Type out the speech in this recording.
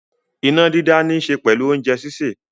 Iná dídá níṣe pẹ̀lú oúnjẹ sísè.